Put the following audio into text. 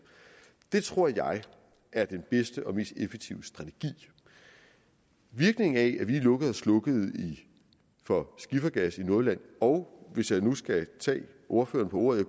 det tror jeg er den bedste og mest effektive strategi virkningen af at vi lukkede og slukkede for skiffergas i nordjylland og hvis jeg nu skal tage ordføreren på ordet